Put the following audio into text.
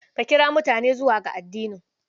Ka kira mutane zuwa ga addinin.